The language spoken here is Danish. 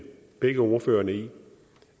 begge ordførerne i